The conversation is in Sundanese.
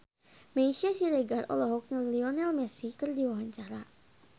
Meisya Siregar olohok ningali Lionel Messi keur diwawancara